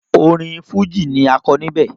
Orin Fújì ni a kọ níbẹ̀.